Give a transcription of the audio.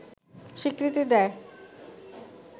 স্বীকৃতি দেয়